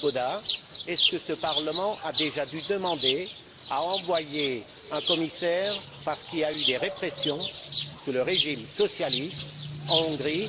Swoboda est ce que ce Parlement a déjà dû demander l'envoi d'un commissaire parce qu'il y avait eu des répressions sous le régime socialiste en Hongrie?